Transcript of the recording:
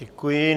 Děkuji.